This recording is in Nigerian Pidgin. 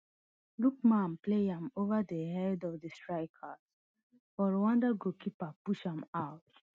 lookman play am ova di head of di strikers but rwanda goalkeeper push am out